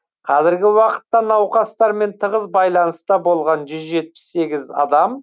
қазіргі уақытта науқастармен тығыз байланыста болған жүз жетпіс сегіз адам